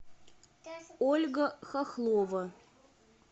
ольга хохлова